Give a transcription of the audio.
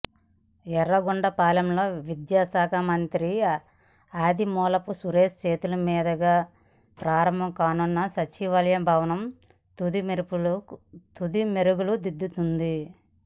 యర్రగొండపాలెంలో విద్యాశాఖ మంత్రి ఆదిమూలపు సురేష్ చేతుల మీదుగా ప్రారంభం కానున్న సచివాలయ భవనం తుది మెరుగులు దిద్దుకుంటోంది